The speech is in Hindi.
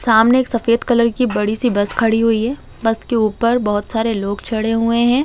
सामने एक सफेद कलर की बड़ी -सी बस खड़ी हुई है बस के ऊपर बहुत सारे लोग चढ़े हुए हैं ।